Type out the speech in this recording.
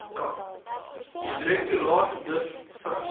direktoraat miv vigs